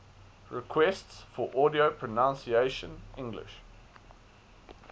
requests for audio pronunciation english